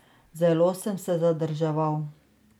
Zelo sem se zadrževal.